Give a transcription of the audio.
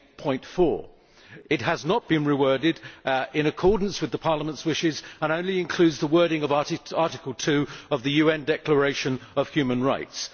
8.4. It has not been reworded in accordance with Parliament's wishes, and only includes the wording of Article 2 of the UN Declaration on Human Rights.